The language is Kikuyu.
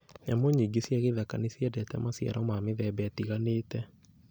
Nyamũ nyingĩ cia gĩthaka nĩ ciendete maciaro ma mĩthemba ĩtiganĩte